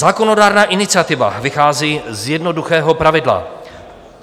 Zákonodárná iniciativa vychází z jednoduchého pravidla.